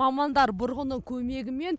мамандар бұрғының көмегімен